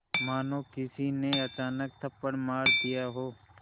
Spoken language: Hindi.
मानो किसी ने अचानक थप्पड़ मार दिया हो